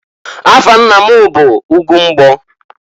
Afa nna m bụ Ugwumbgo.